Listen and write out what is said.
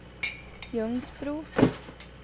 Ljungsbro